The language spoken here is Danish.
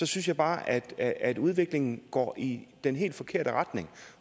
synes jeg bare at at udviklingen går i den helt forkerte retning